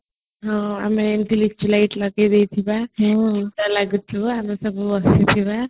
ହଁ ଆମେ ଏମିତି lychee light ଲଗେଇଦେଇଥିବା ସେ ଲାଗୁଥିବ ଆମେସବୁ ବସିଥିବା